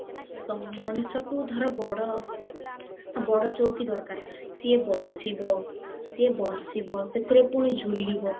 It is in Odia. ତ ମଣିଷକୁ ଧର ବଡ ବଡ ଚୌକି ଦରକାର ସିଏ ବସିବ ସିଏ ବ୍ବାସିବା ସେଥିରେ ପୁଣି ଝୁଲିବ